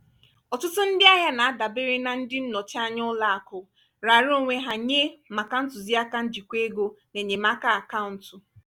ọtụtụ ndị ahịa na-adabere na ndị nnọchi anya ụlọ akụ raara onwe ha nye maka ntụzịaka njikwa ego na enyemaka akaụntụ.